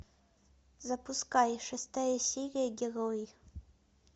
запускай шестая серия герои